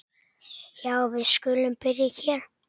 Já, við skulum byrja hér.